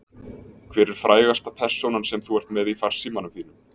Hver er frægasta persónan sem þú ert með í farsímanum þínum?